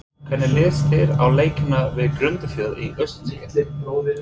Hvernig líst þér á leikina við Grundarfjörð í úrslitakeppninni?